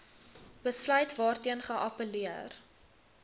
besluit waarteen geappelleer